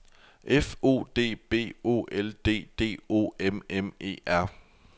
F O D B O L D D O M M E R